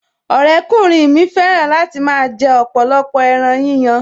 Ọ̀rẹ́kùnrin mi fẹ́ràn láti máa jẹ ọ̀pọ̀lọpọ̀ ẹran yíyan